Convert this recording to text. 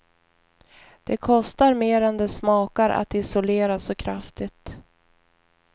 Det kostar mer än det smakar att isolera så kraftigt.